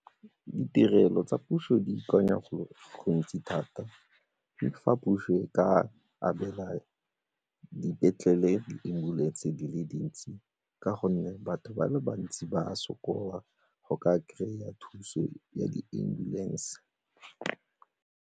Ditirelo tsa puso di ikanya go gontsi thata fa puso e ka abela dipetlele di-ambulance di le dintsi ka gonne batho ba le bantsi ba sokola go ka kry-a thuso ya di-ambulance.